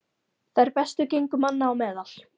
Þær bestu gengu manna á meðal.